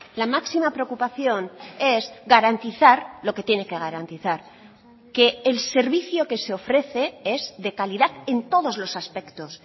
la máxima preocupación es garantizar lo que tiene que garantizar que el servicio que se ofrece es de calidad en todos los aspectos